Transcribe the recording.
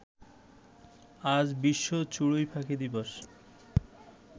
আজ বিশ্ব চড়ুইপাখি দিবস